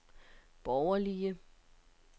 borgerlige